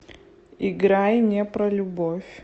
играй не про любовь